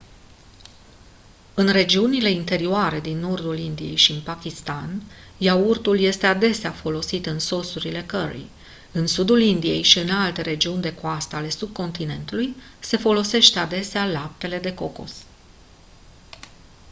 în regiunile interioare din nordului indiei și în pakistan iaurtul este adesea folosit în sosurile curry în sudul indiei și în alte regiuni de coastă ale subcontinentului se folosește adesea laptele de cocos